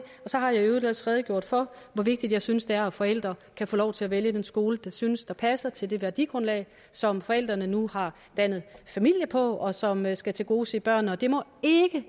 så har jeg i øvrigt også redegjort for hvor vigtigt jeg synes det er at forældre kan få lov til at vælge den skole de synes passer til det værdigrundlag som forældrene nu har dannet familie på og som skal tilgodese børnene